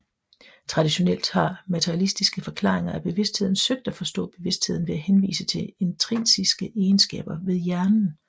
Traditionelt har materialistiske forklaringer af bevidstheden søgt at forstå bevidstheden ved at henvise til intrinsiske egenskaber ved hjernen